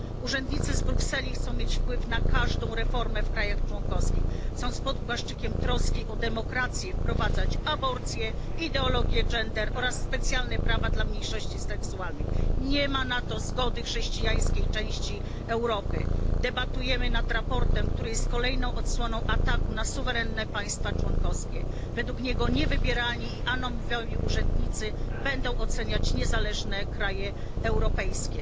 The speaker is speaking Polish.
Urzędnicy z Brukseli chcą mieć wpływ na każdą reformę w krajach członkowskich, chcą pod płaszczykiem troski o demokrację wprowadzać aborcję, ideologię gender oraz specjalne prawa dla mniejszości seksualnych. Nie ma na to zgody chrześcijańskiej części Europy. Debatujemy nad sprawozdaniem, które jest kolejną odsłoną ataku na suwerenne państwa członkowskie. Według niego niewybierani i anonimowi urzędnicy będą oceniać niezależne kraje europejskie.